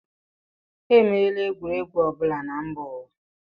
E meela egwuregwu ọ bụla na mba ụwa.